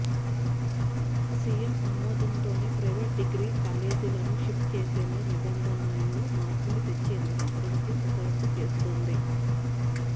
CM ఆమోదంతోనే private degree కాలేజీలను shift చేసేలా నిబంధనల్లో మార్పులు తెచ్చేందుకు ప్రభుత్వం కసరత్తు చేస్తోంది